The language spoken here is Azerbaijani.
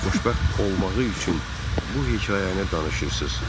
Anamın xoşbəxt olmağı üçün bu hekayəni danışırsız.